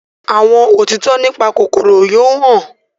àwọn òtítọ nípa kòkòrò yóò hàn.